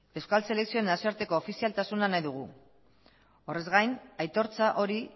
euskal selekzioen nazioartek ofizialtasuna nahi dugu horrez gain aitortza hori